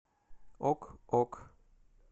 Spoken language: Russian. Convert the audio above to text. ок ок